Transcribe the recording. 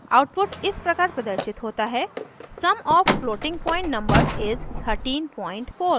output इस प्रकार प्रदर्शित होता है: